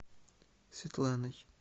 светланой